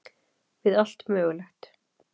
Við allt mögulegt.